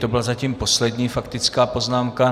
To byla zatím poslední faktická poznámka.